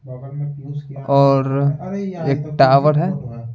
और एक टावर है।